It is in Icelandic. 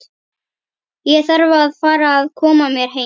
Ég þarf að fara að koma mér heim.